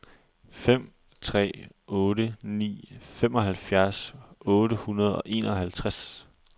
fem tre otte ni femoghalvfjerds otte hundrede og enoghalvtreds